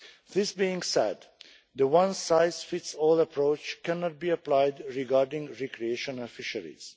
This being said, the one-size-fits-all approach cannot be applied regarding recreational fisheries.